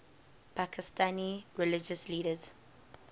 pakistani religious leaders